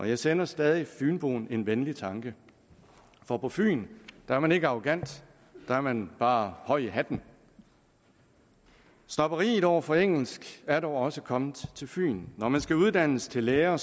jeg sender stadig fynboen en venlig tanke for på fyn er man ikke arrogant der er man bare høj i hatten snobberiet over for engelsk er dog også kommet til fyn når man skal uddannes til lærer